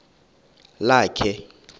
lakhe